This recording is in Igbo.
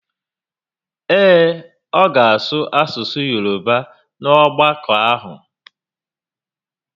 Ee, ọ ga asụ asụsụ Yoroba n'ogbakọ ahụ